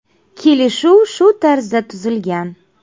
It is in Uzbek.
Kelishuv shu tarzda tuzilgan.